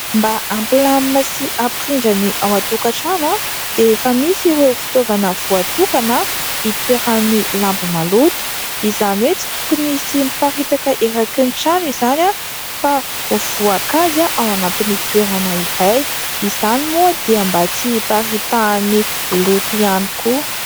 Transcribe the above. Mba hampilamina sy hampirindra ny ao an-tokatrano dia efa misy ireo fitaovana voatokana hitoeran'ny lamba maloto. Izany hoe tsy tokony hisy miparitaka eraky ny trano izany fa ho voakajy ao anatin'ny toerana iray. Izany moa dia mba tsy hiparitahan'ny loto ihany koa.